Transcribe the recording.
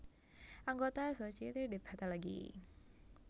Anggota Société de Pathologie